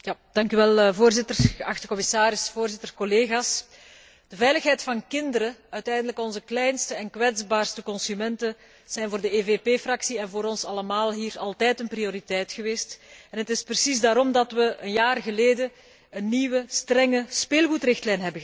Voorzitter, geachte commissaris, collega's, de veiligheid van kinderen, uiteindelijk onze kleinste en kwetsbaarste consumenten, zijn voor de EVP Fractie en voor ons allemaal hier altijd een prioriteit geweest en het is precies daarom dat we een jaar geleden een nieuwe strenge speelgoedrichtlijn hebben goedgekeurd.